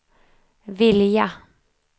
vilja